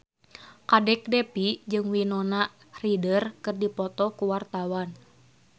Kadek Devi jeung Winona Ryder keur dipoto ku wartawan